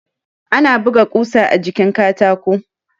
Ana buga ƙusa a jikin katako